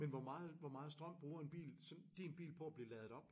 Men hvor meget hvor meget strøm bruger en bil sådan din bil på at blive ladet op?